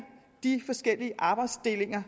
de forskellige arbejdsdelinger